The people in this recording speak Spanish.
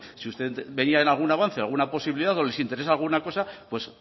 si usted veía en algún avance alguna posibilidad o les interesa alguna cosa pues